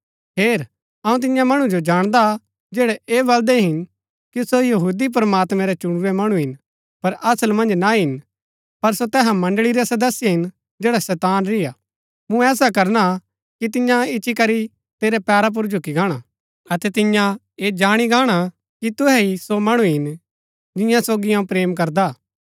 हेर अऊँ तिन्या मणु जो जाणदा हा जैड़ै ऐह बलदै हिन कि सो यहूदी प्रमात्मैं रै चुणुरै मणु हिन पर असल मन्ज ना हिन पर सो तैहा मण्ड़ळी रै सदस्य हिन जैडा शैतान री हा मूँ ऐसा करना कि तियां इच्ची करी तेरै पैरा पुर झुकी गाणा अतै तियां ऐ जाणी गाणा कि तुहै ही सो मणु हिन जिन्या सोगी अऊँ प्रेम करदा हा